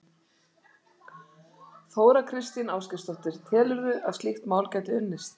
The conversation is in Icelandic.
Þóra Kristín Ásgeirsdóttir: Telurðu að slíkt mál gæti unnist?